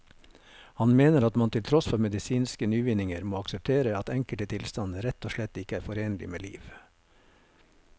Han mener at man til tross for medisinske nyvinninger må akseptere at enkelte tilstander rett og slett ikke er forenlig med liv.